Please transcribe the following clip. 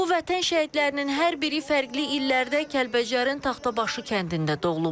Bu vətən şəhidlərinin hər biri fərqli illərdə Kəlbəcərin Taxtabaşı kəndində doğulublar.